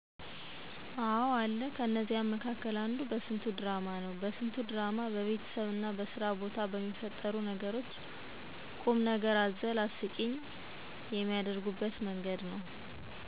አዎ አለ። ከነዚያ መካከል አንዱ በስንቱ ድራማ ነው። በስንቱ ድራማ በቤተሰብና በስራ ቦታ በሚፈጠሩ ነገሮች ቁምነገር አዘል አስቂኝ የሚያደርጉበት መንገድ ነው።